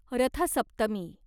रथ सप्तमी